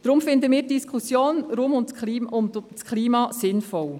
Deshalb finden wir die Diskussion rund um das Klima sehr sinnvoll.